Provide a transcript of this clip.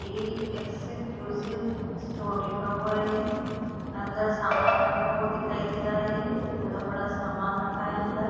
Deal exclusive store लिखा हुआ है अन्दर सामान रखा हुआ दिखाई दे रहा है बड़ा-बड़ा सामान रखा है अन्दर ।